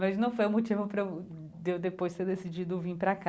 Mas não foi o motivo pra eu, de eu depois, ter decidido vim pra cá.